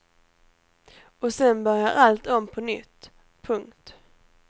Och sen börjar allt om på nytt. punkt